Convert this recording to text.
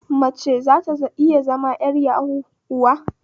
Mace zata iya zama 'yar yahu kuwa?